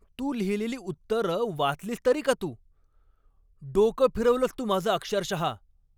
तू लिहिलेली उत्तरं वाचलीस तरी का तू? डोकं फिरवलंस तू माझं अक्षरशहा.